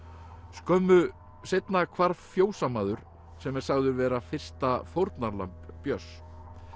skömmu seinna hvarf fjósamaður sem er sagður vera fyrsta fórnarlamb Björns